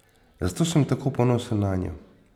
Zato sem tako ponosen nanjo.